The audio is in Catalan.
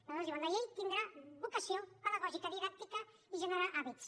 aleshores diuen la llei tindrà vocació pedagògica didàctica i generarà hàbits